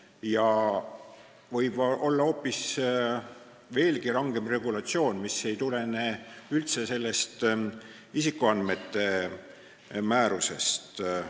Mujal võib olla hoopis rangem regulatsioon, mis ei tulene üldse sellest isikuandmete määrusest.